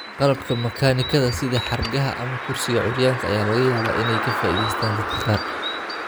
Qalabka makaanikada, sida xargaha ama kursiga curyaanka, ayaa laga yaabaa inay ka faa'iidaystaan ​​dadka qaar.